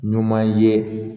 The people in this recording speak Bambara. Ɲuman ye